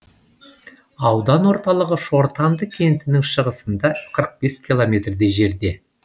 аудан орталығы шортанды кентінің шығысында қырық бес километрдей жерде